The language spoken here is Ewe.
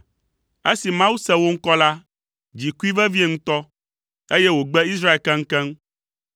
Esi Mawu se wo ŋkɔ la, dzi kui vevie ŋutɔ, eye wògbe Israel keŋkeŋ.